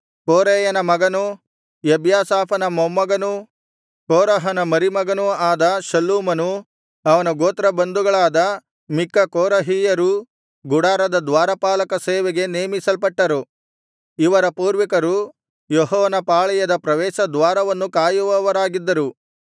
ಕೋರೇಯನ ಮಗನೂ ಎಬ್ಯಾಸಾಫನ ಮೊಮ್ಮಗನೂ ಕೋರಹನ ಮರಿಮಗನೂ ಆದ ಶಲ್ಲೂಮನೂ ಅವನ ಗೋತ್ರ ಬಂಧುಗಳಾದ ಮಿಕ್ಕ ಕೋರಹಿಯರೂ ಗುಡಾರದ ದ್ವಾರಪಾಲಕ ಸೇವೆಗೆ ನೇಮಿಸಲ್ಪಟ್ಟರು ಇವರ ಪೂರ್ವಿಕರು ಯೆಹೋವನ ಪಾಳೆಯದ ಪ್ರವೇಶ ದ್ವಾರವನ್ನು ಕಾಯುವವರಾಗಿದ್ದರು